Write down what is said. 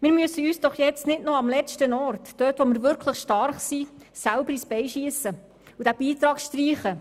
Wir müssen uns nicht dort, wo wir wirklich stark sind, selber ins Bein schiessen und diesen Beitrag streichen!